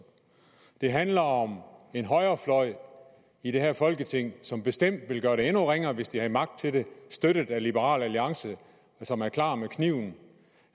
det handler om en højrefløj i det her folketing som bestemt ville gøre det endnu ringere hvis de havde magt til det støttet af liberal alliance som er klar med kniven